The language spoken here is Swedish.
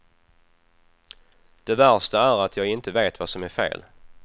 Det värsta är att jag inte vet vad som är fel.